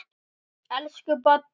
Elsku Baddi.